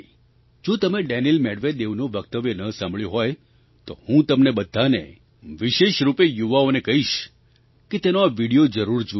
જો તમે ડેનિલ Medvedevનું વક્તવ્ય ન સાંભળ્યું હોય તો હું તમને બધાને વિશેષ રૂપે યુવાઓને કહીશ કે તેનો આ વિડિયો જરૂર જુઓ